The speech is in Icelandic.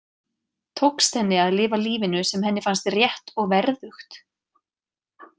Tókst henni að lifa lífinu sem henni fannst rétt og verðugt?